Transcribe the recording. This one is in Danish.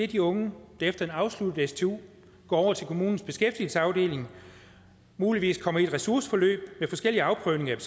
de unge der efter en afsluttet stu går over til kommunens beskæftigelsesafdeling og muligvis kommer i et ressourceforløb med forskellige afprøvninger af